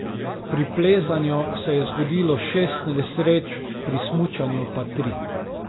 Pri plezanju se je zgodilo šest nesreč, pri smučanju pa tri.